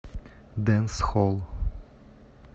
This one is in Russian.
дэнсхолл